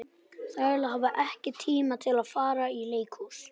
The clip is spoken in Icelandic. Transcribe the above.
Þrælar hafa ekki tíma til að fara í leikhús.